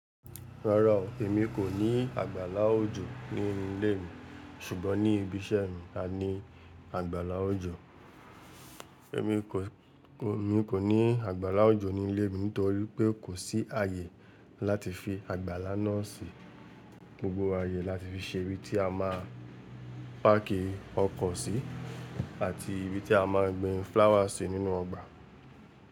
Rárá o, èmi kò ní àgbàlá òjò ní ilé mi ṣùgbọ́n ní ibi iṣẹ́ mi a ní àgbàlá òjò. Èmi kò, mi kò ní àgbàlá òjò ní ilé mi nítorí pé kò sí ààyè láti fi àgbàlá náà sí. Gbogbo ààyè láti fi ṣe ibi tí a máà ń páàkì ọkọ̀ sí àti ibi tí a máà ń gbin flower sí nínú ọgbà.